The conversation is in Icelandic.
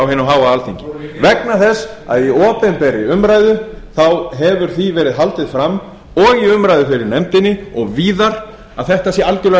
á hinu háa alþingi vegna þess að í opinberri umræðu hefur því verið haldið fram og í umræðu í nefndinni og víðar að þetta sé algerlega